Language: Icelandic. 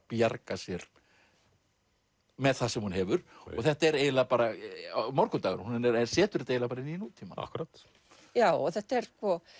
bjarga sér með það sem hún hefur og þetta er eiginlega bara morgundagurinn hún setur þetta bara í nútímann já og þetta er